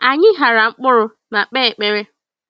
Anyị ghara mkpụrụ ma kpe ekpere.